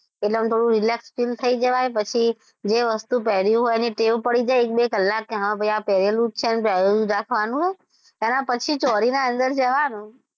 એટલે આમ થોડું relax fill થયી જવાય પછી જે વસ્તુ પહેરી હોય એની ટેવ પડી જાય એક - બે કલાક કે હા ભાઈ આ પહેરેલું જ છે અને પહેરેલું જ રાખવાનું એનાં પછી ચોરીનાં અંદર જવાનું.